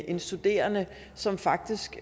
en studerende som faktisk